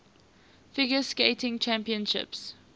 figure skating championships